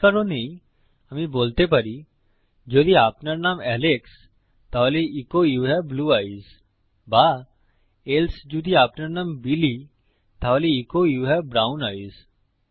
এই কারণেই আমি বলতে পারি যদি আপনার নাম এলেক্স তাহলে so you have blue eyes বা এলসে যদি আপনার নাম বিলি তাহলে so you have brown ice